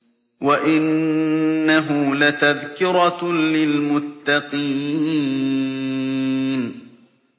وَإِنَّهُ لَتَذْكِرَةٌ لِّلْمُتَّقِينَ